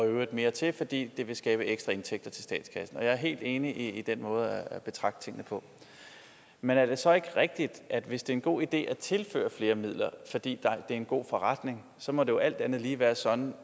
øvrigt mere til fordi det vil skabe ekstra indtægter til statskassen og jeg er helt enig i den måde at betragte tingene på men er det så ikke rigtigt at hvis det er en god idé at tilføre flere midler fordi det er en god forretning så må det jo alt andet lige være sådan